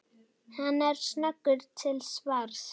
Hann er snöggur til svars.